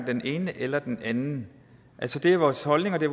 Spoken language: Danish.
den ene eller den anden det er vores holdning og det